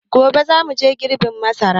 Gobe za mu je girbin masara.